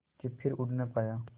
के फिर उड़ ना पाया